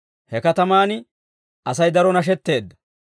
He katamaan Asay daro nashetteedda.